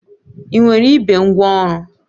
Ị nwere igbe ngwaọrụ?